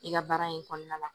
I ka baara in kɔnɔna la